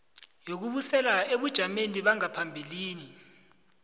yokubuyisela ebujameni bangaphambilini